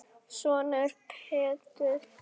Sonur Elínar er Pétur Þór.